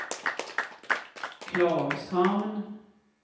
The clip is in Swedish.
Klagshamn